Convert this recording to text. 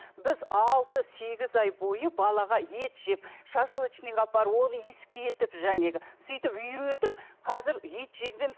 біз алты сегіз ай бойы балаға ет жеп шашлычныйға апарып оны иіскетіп жанағы сөйтіп үйретіп қазір ет жегіземіз